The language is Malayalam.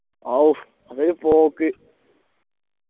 ആവു അതൊരു പോക്ക്